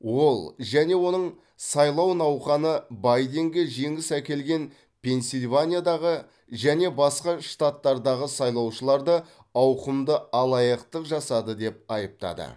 ол және оның сайлау науқаны байденге жеңіс әкелген пенсильваниядағы және басқа штаттардағы сайлаушыларды ауқымды алаяқтық жасады деп айыптады